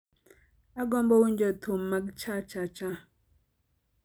Agombo winjo thum mag chachacha